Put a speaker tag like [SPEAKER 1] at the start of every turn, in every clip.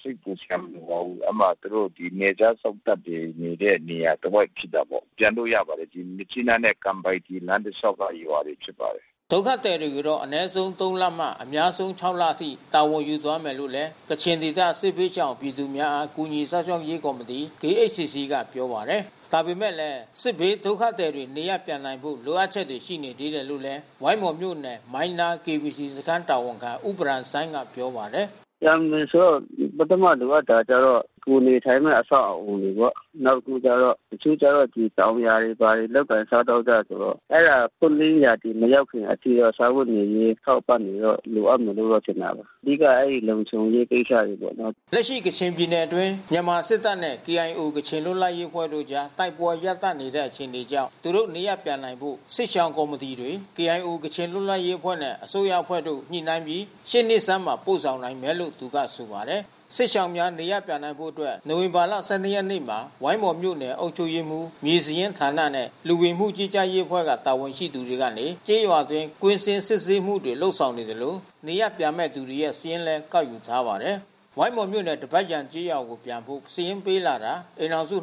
[SPEAKER 1] စိတ်ပူစရာမလိုပါဘူး။ သူတို့နယ်ခြားစောင့်တပ်တွေနေတဲ့နေရာတဝိုက်ဖြစ်တာပေါ့။ ပြန်လို့ရပါတယ်။ ဒီမြစ်ကြီးနားနဲ့ကန်ပိုင်တီလမ်းတလျှာက်ကရွာတွေဖြစ်ပါတယ်။
[SPEAKER 2] ” ဒုက္ခသည်တွေကိုတော့ အနည်းဆုံး ၃ လမှ အများဆုံး ၆ လအထိ တာဝန်ယူသွားမယ်လို့လည်း ကချင်ဒေသ စစ်ဘေးရှောင် ပြည်သူများအား ကူညီစောင့်ရှောက်ရေး ကော်မတီ KHCC ကပြောပါတယ်။ ဒါပေမဲ့လည်း စစ်ဘေးဒုက္ခသည်တွေ နေရပ်ပြန်နိုင်ဖို့ လိုအပ်ချက်တွေ ရှိနေသေးတယ်လို့လည်း ဝိုင်းမော်မြို့နယ်မိုင်းနား စခန်းတာဝန်ခံ ဦးဘရမ်ဆိုင်းကပြောပါတယ်။
[SPEAKER 1] “ပြန်မယ်ဆိုတော့ ပထမလိုအပ်တာကတော့ကိုယ်နေထိုင်မဲ့ အဆောက်အဦတွေပေါ့။ နောက်တခုကျတော့ တချို့ကျတော့ တောင်ယာတွေ ဘာတွေလုပ်ကိုင်စားသောက်ကြတယ်ဆိုတော့ အဲတာပွင့်လင်းရာသီမရောက်ခင်အထိတော့ စားဝတ်နေရေးအထောက်အပံ့တွေတော့ လိုအပ်မယ်လို့တော့ထင်ပါတယ်။ အဓိကကတော့ လုံခြုံရေးကိစ္စ
[SPEAKER 2] တွေ ပေါ့နော်။ လက်ရှိ ကချင်ပြည်နယ်အတွင်း မြန်မာစစ်တပ်နဲ့KIOကချင်လွတ်လပ်ရေးအဖွဲ့တို့အကြား တိုက်ပွဲရပ်တန့်နေတဲ့ အခြေအနေကြောင့် သူတို့နေရပ်ပြန်နိုင်ဖို့ စစ်ရှောင်ကော်မီတီတွေ KIOကချင်လွတ်လပ်ရေးအဖွဲ့နဲ့ အစိုးရအဖွဲ့တို့ ညှိနှိုင်းပြီး ရှေ့နှစ်ဆန်းမှာ ပို့ဆောင်နိုင်မယ်လို့ သူကဆိုပါတယ်။ စစ်ဘေးရှောင်များ နေရပ်ပြန်နိုင်ဖို့အတွက် နိုဝင်ဘာလ ၁၂ ရက်နေ့က ဝိုင်းမော်မြို့နယ် အုပ်ချုပ်ရေးမှူး၊ မြေစာရင်းဌာနနှင့် လူဝင်မှုကြီးကြပ်ရေးအဖွဲ့မှ တာဝန်ရှိသူတွေက ကျေးရွာအတွင်း ကွင်းဆင်းစစ်ဆေးမှုတွေ လုပ်ဆောင်နေသလို နေရပ်ပြန်မဲ့သူတွေရဲ့စာရင်းလည်း ကောက်ယူထားပါတယ်။ ဝိုင်းမော်မြို့နယ် ဒဘတ်ယာန်ကျေးရွာကိုပြန်ဖို့ စာရင်းပေးလာတာ အိမ်ထောင်စု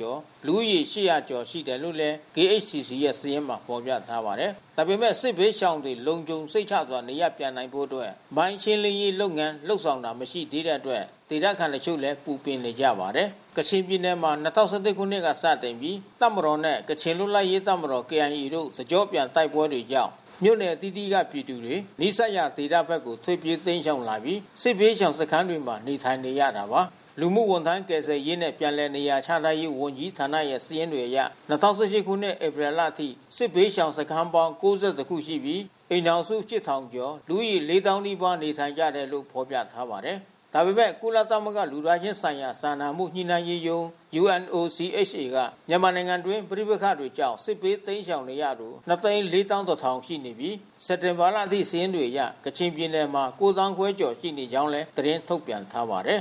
[SPEAKER 2] ကျော် လူဦးရေ ကျော် ရှိတယ်လို့လည်း KHCC ရဲ့စာရင်းမှာ ဖေါ်ပြထားပါတယ်။ ဒါပေမဲ့ စစ်ဘေးရှောင်တွေလုံခြုံစိတ်ချစွာ နေရပ်ပြန်နိုင်ဖို့အတွက် မိုင်းရှင်းလင်းရေးလုပ်ငန်း လုပ်ဆောင်တာ မရှိသေးတဲ့အတွက် ဒေသခံတချို့ကလဲ ပူပင်နေကြပါတယ်။ ကချင်ပြည်နယ်မှာ၂၀၁၁ ခုနှစ်မှ စတင်ပြီး တပ်မတော်နှင့် ကချင်လွတ်လပ်ရေး တပ်မတော် KIA တို့ တစ်ကျော့ပြန် တိုက်ပွဲများကြောင့် မြို့နယ်အသီးသီးက ပြည်သူတွေ နီးစပ်ရာ ဒေသဖက်ကိုထွက်ပြေးတိမ်းရှောင်လာပြီး စစ်ဘေးရှောင်စခန်းတွေမှာနေထိုင်နေရတာပါ။ လူမှုဝန်ထမ်းကယ်ဆယ်ရေးနှင့် ပြန်လည်နေရာချထားရေးဝန်ကြီးဌာနရဲ့စာရင်းများအရ ၂၀၁၈ ခုနှစ် ဧပြီလအထိ စစ်ဘေးရှောင်စခန်းပေါင်း ၉၁ ခုရှိပြီး အိမ်ထောင်စု ၈,၀၀၀ ကျော်မှ လူဦးရေ ၄၀,၀၀၀ နီးပါးနေထိုင်ကြတယ်လို့ ဖေါ်ပြထားပါတယ်။ ဒါပေမဲ့ ကုလသမဂ္ဂလူသားချင်းစာနာမှုဆိုင်ရာ ညှိနှိုင်းရေးရုံး က မြန်မာနိုင်ငံတွင်း ပဋိပက္ခတွေကြောင့် ရှောင်တိမ်းနေရသူ ၂၄၁,၀၀၀ ရှိပြီး စက်တင်ဘာလအထိ စာရင်းတွေအရ ကချင်ပြည်နယ်မှ ၉ သောင်းခွဲကျော် ရှိကြောင်းလည်း သတင်းထုတ်ပြန်ထားပါတယ်